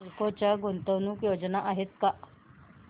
नालको च्या गुंतवणूक योजना आहेत का